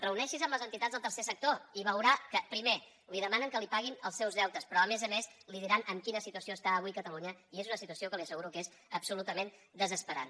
reuneixi’s amb les entitats del tercer sector i veurà que primer li demanen que els paguin els seus deutes però a més a més li diran en quina situació està avui catalunya i és una situació que li asseguro que és absolutament desesperant